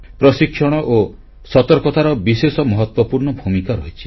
ପ୍ରଶିକ୍ଷଣ ଓ ସତର୍କତାର ବିଶେଷ ମହତ୍ୱପୂର୍ଣ୍ଣ ଭୂମିକା ରହିଛି